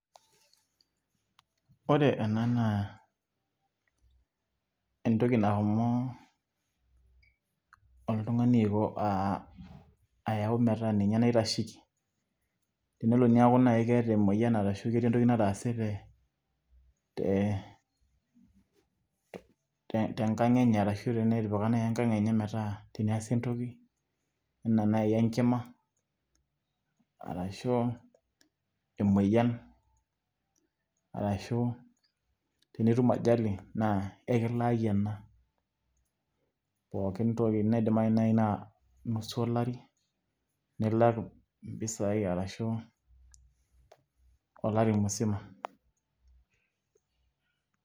Ore ena naa, entoki nashomo oltung'ani aiko, ah ayau metaa ninye naitasheki. Enelo neeku nai keeta emoyian arashu ketii entoki nataase te tenkang' enye, arashu tenetipika nai enkang' enye metaa ninye tenaasa entoki, enaa nai enkima arashu emoyian, arashu tenitum ajali, naa ekilaaki ena pookin toki nidimayu nai na nusu olari, nilak mpisai arashu olari musima.